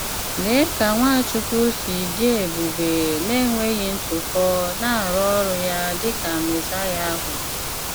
Lèé ka Nwáchùkwù sì dị́ èbùbè na enweghị ntụ̀pọ̀ na-arụ ọrụ́ ya dị́ ka Mèsáíà ahụ̀!